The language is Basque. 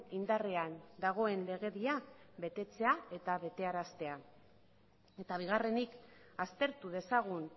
indarrean dagoen legedia betetzea eta betearaztea eta bigarrenik aztertu dezagun